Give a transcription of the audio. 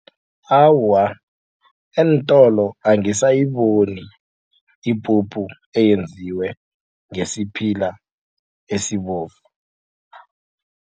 Awa, eentolo angisayiboni ipuphu eyenziwe ngesiphila esibovu.